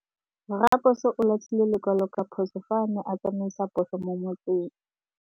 Raposo o latlhie lekwalô ka phosô fa a ne a tsamaisa poso mo motseng.